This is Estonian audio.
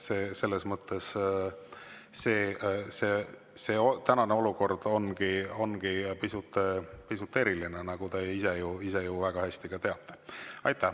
Selles mõttes ongi see tänane olukord pisut eriline, nagu te ise ju väga hästi teate.